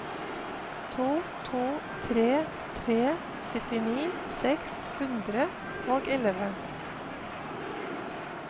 to to tre tre syttini seks hundre og elleve